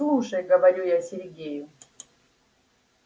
слушай говорю я сергею